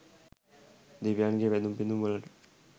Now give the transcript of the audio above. දෙවියන්ගේ වැඳුම් පිඳුම් වලට